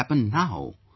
What will happen now